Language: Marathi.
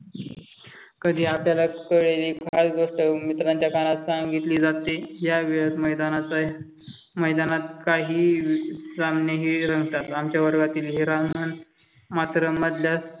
कधी अचानक शाळेने मार्ग मित्रांच्या कानात सांगितले जाते या वेळेस मैदानाचा आहे. मैदानात काही सामने रंगतात. आमच्या वर्गातील हिरामण मात्र मधल्या